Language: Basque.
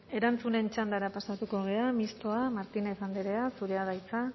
erantzunen txandara pasatuko gara mistoa martínez andrea zurea da hitza